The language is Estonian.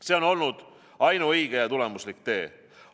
See on olnud ainuõige ja tulemuslik tee.